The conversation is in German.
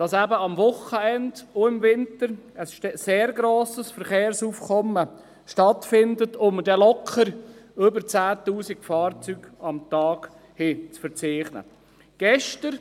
Er hat gesagt, dass gerade am Wochenende und im Winter ein sehr grosses Verkehrsaufkommen herrscht und wir locker über 10 000 Fahrzeuge pro Tag verzeichnen können.